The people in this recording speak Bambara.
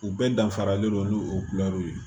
U bɛɛ danfaralen don ni o kulɛriw ye